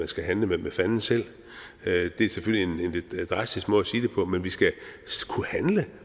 skal handle med fanden selv det er selvfølgelig en lidt drastisk måde at sige det på men vi skal kunne handle